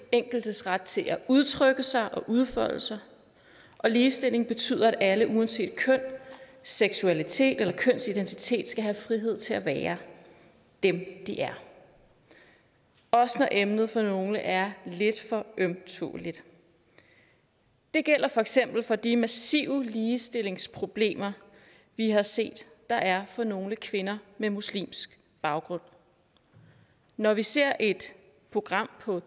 enkeltes ret til at udtrykke sig og udfolde sig ligestilling betyder at alle uanset køn seksualitet eller kønsidentitet skal have frihed til at være dem de er også når emnet for nogle er lidt for ømtåleligt det gælder for eksempel for de massive ligestillingsproblemer vi har set der er for nogle kvinder med muslimsk baggrund når vi ser et program på